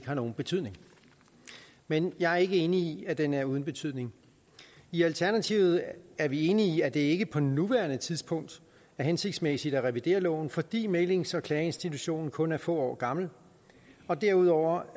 har nogen betydning men jeg er ikke enig i at den er uden betydning i alternativet er er vi enige i at det ikke på nuværende tidspunkt er hensigtsmæssigt at revidere loven fordi mæglings og klageinstitutionen kun er få år gammel og derudover